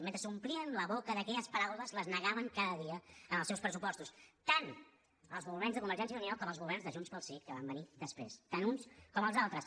mentre s’omplien la boca d’aquelles paraules les negaven cada dia en els seus pressupostos tant els governs de convergència i unió com els governs de junts pel sí que van venir després tant uns com els altres